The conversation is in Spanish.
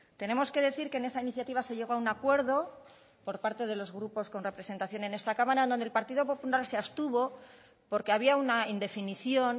tenemos que decir que en esa iniciativa se llegó a un acuerdo por parte de los grupos con representación en esta cámara donde el partido popular se abstuvo porque había una indefinición